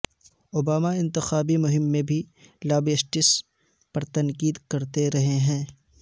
Obama انتخابی مہم میں بھی لابیئسٹس پر تنقید کرتے رہے ہیں